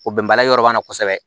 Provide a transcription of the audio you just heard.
O bɛnbaliya yɔrɔ b'an na kosɛbɛ